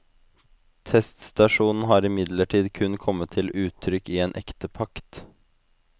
Testasjonen har imidlertid kun kommet til uttrykk i en ektepakt.